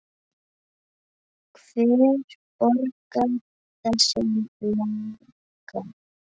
Hver borgar þessum náunga?